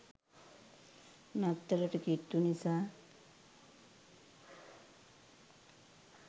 නත්තලට කිට්ටු නිසා